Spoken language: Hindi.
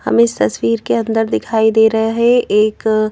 हमें इस तस्वीर के अंदर दिखाई दे रहा है एक --